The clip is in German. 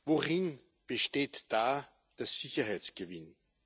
Worin besteht da der Sicherheitsgewinn?